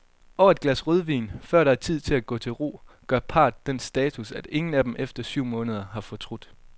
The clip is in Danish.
Over et glas rødvin, før det er tid at gå til ro, gør parret den status, at ingen af dem efter syv måneder har fortrudt.